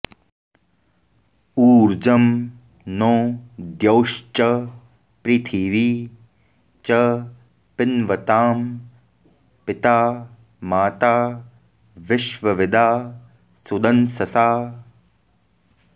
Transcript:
ऊर्जं नो द्यौश्च पृथिवी च पिन्वतां पिता माता विश्वविदा सुदंससा